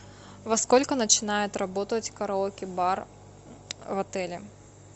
во сколько начинает работать караоке бар в отеле